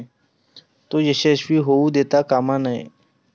तो यशस्वी होऊ देता कामा नये.